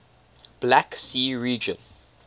black sea region